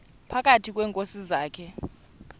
phakathi kweenkosi zakhe